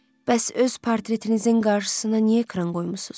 Bəs öz portretinizin qarşısına niyə ekran qoymusunuz?